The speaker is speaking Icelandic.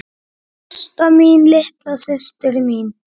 Ásta mín, litla systir mín.